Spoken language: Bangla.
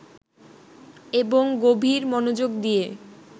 এবং গভীর মনোযোগ দিয়ে